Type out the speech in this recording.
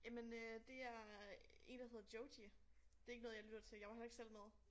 Jamen øh det er én der hedder Joji det ikke noget jeg lytter til jeg var heller ikke selv med